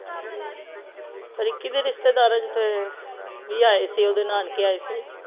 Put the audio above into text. ਰਿੱਕੀ ਦੇ ਰਿਸ਼ਤੇਦਾਰਨ ਤੇ ਵੀ ਆਏ ਸੀ ਓਹਦੇ ਨਾਨਕੇ ਆਏ ਸੀ